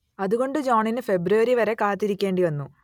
അതുകൊണ്ട് ജോണിന് ഫെബ്രുവരി വരെ കാത്തിരിക്കേണ്ടിവന്നു